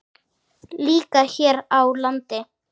Líka hér á landi.